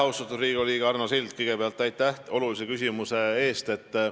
Austatud Riigikogu liige Arno Sild, kõigepealt aitäh olulise küsimuse eest!